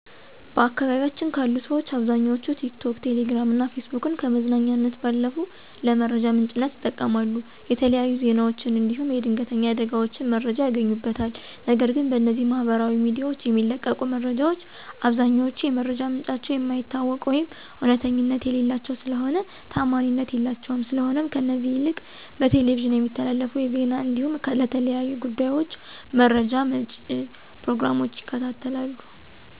በአካባቢያችን ካሉ ሠዎች አብዛኛዎቹ ቲክቶክ፣ ቴሌግራም እና ፌስቡክን ከመዝናኛነት ባለፉ ለመረጃ ምንጭነት ይጠቀማሉ። የተለያዩ ዜናዎችን እንዲሁም የድንተኛ አደጋዎችን መረጃ ያገኙበታል፤ ነገር ግን በእነዚህ ማህበራዊ ሚዲያዎች የሚለቀቁ መረጃዎች አብዛኛዎቹ የመረጃ ምንጫቸው የማይታወቅ ወይም እውነተኛነት የሌላቸው ስለሆኑ ታዓማኒነት የላቸውም፤ ስለሆነም ከእነዚህ ይልቅ በቴሌቪዥን የሚተላለፉ የዜና እንዲሁም ለተለያዩ ጉዳዮች መረጃ መጪ ፕሮግራሞችን ይከታተላሉ።